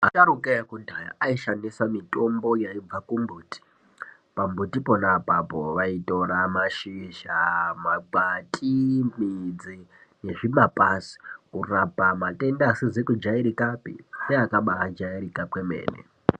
Asharukwa akudhaya aishandisa mitombo yaibva kumbuti, pambuti ponaapapo vaitora mashizha, makwati, midzi nezvimapazi kurapa matenda asizi kujairikapi neakaba jairika kwemene.